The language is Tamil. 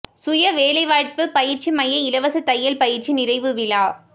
சுய வேலைவாய்ப்பு பயிற்சி மைய இலவச தையல் பயிற்சி நிறைவு விழா